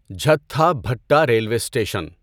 Jhatha Bhatta railway station